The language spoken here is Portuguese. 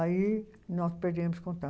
Aí nós perdemos contato.